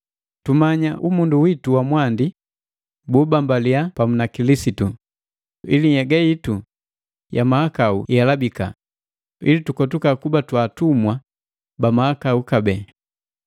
Tumanya umundu witu wa mwandi buubambalia pamu na Kilisitu, ili nhyega itu ya mahakau ialabika, ili tukotuka kuba twaatumwa ba mahakau kabee.